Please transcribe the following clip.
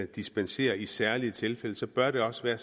dispensere i særlige tilfælde så bør det også være